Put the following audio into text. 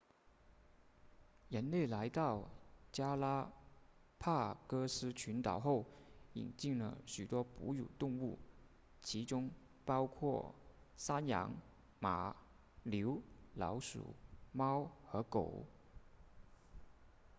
人类来到加拉帕戈斯群岛后引进了许多哺乳动物其中包括山羊马牛老鼠猫和狗